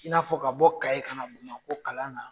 I n'a fɔ ka bɔ ka ye ka o kalan na